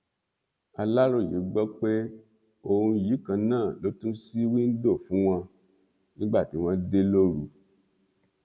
aláròye gbọ pé òun yìí kan náà ló tún ṣí wíńdò fún wọn nígbà tí wọn dé lóru